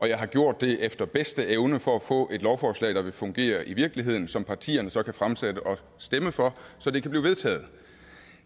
jeg har gjort det efter bedste evne for at få et lovforslag der vil fungere i virkeligheden som partierne så kan fremsætte og stemme for så det kan blive vedtaget